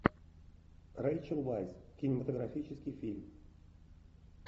рэйчел вайс кинематографический фильм